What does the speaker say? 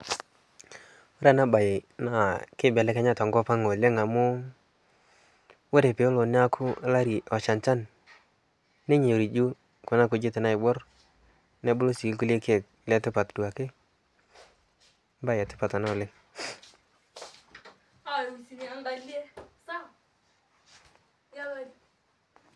kore anaa bai naa keibelenkyaa tonkopang oleng amuu kore peelo naaku lari loshaa nshan nenyorijuu kuna kujit naibuor nebuluu sii lkulie keek letipat duake mbai etipat anaa oleng